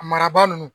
Maraba ninnu